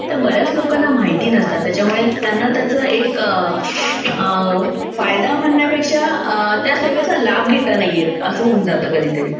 तर बऱ्याच लोकांना माहिता नसतात तर त्याच्यामुळे त्यांना त्याच एक फायदा म्हणण्यापेक्षा त्या सेवेचा लाभ घेता येतं नाही, असं होऊन जातं कधीतरी.